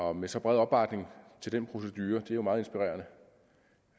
og med så bred opbakning til den procedure er det jo meget inspirerende